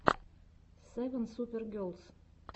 севен супер герлс